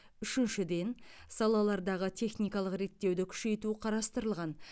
үшіншіден салалардағы техникалық реттеуді күшейту қарастырылған